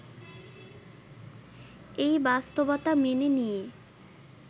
এই বাস্তবতা মেনে নিয়ে